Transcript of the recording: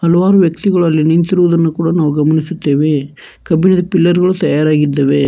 ಹಲವಾರು ವ್ಯಕ್ತಿಗಳಲ್ಲಿ ನಿಂತಿರುವುದನ್ನು ಕೂಡ ನಾವು ಗಮನಿಸುತ್ತೇವೆ ಕಬ್ಬಿಣದ ಪಿಲ್ಲರ್ ಗಳು ತಯಾರಾಗಿದ್ದಾವೆ.